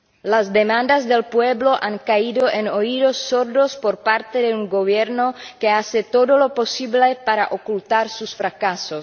Las demandas del pueblo han caído en oídos sordos por parte de un Gobierno que hace todo lo posible para ocultar sus fracasos.